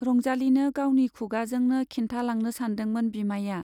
रंजालीनो गावनि खुगाजोंनो खिन्थालांनो सानदोंमोन बिमाइया।